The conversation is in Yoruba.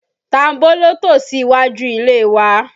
Tambóló tò sí iwájú ilé wa